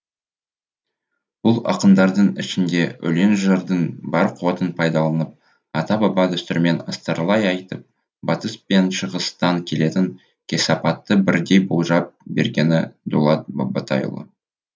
бұл ақындардың ішінде өлең жырдың бар қуатын пайдаланып ата баба дәстүрімен астарлай айтып батыс пен шығыстан келетін кесапатты бірдей болжап бергені дулат бабатайұлы